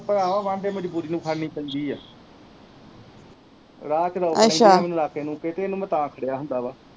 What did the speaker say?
ਉਹ ਭਰਾਵਾਂ ਬਾਹ ਮਜਬੂਰੀ ਨੂੰ ਫੜਨੀ ਪੈਂਦੀ ਆ ਰਾਹ ਚ ਨਾਕੇ ਨੂਕੇ ਤੇ ਇਹਨੂੰ ਮੈਂ ਤਾ ਫੜੇਆਂ ਹੁੰਦਾ ਵਾ